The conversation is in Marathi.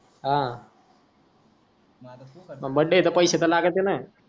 हा मंग का बर्थडे आह त पैसे त लागत ना.